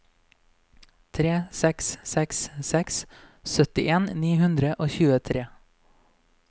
tre seks seks seks syttien ni hundre og tjuetre